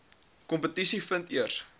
kompetisie vind eers